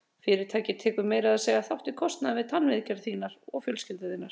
Fyrirtækið tekur meira að segja þátt í kostnaði við tannviðgerðir þínar og fjölskyldu þinnar.